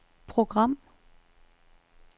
program